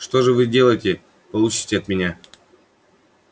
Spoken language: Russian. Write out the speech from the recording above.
что же вы надеетесь получить от меня